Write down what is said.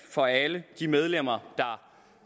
for alle de medlemmer